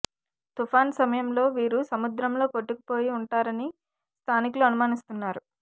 తుపాను సమయంలో వీరు సముద్రంలో కొట్టుకుపోయి ఉంటారని స్థానికులు అనుమానిస్తున్నారు